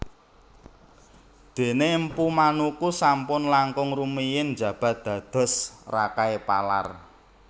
Dene Mpu Manuku sampun langkung rumiyin njabat dados Rakai Palar